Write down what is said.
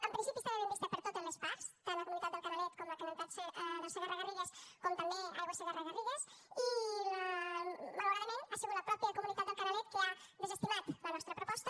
en principi estava ben vista per totes les parts tant la comunitat del canalet com la comunitat del segarra garrigues com també aigües del segarra garrigues i malauradament ha sigut la mateixa comunitat del canalet que ha desestimat la nostra proposta